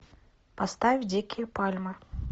поставь дикие пальмы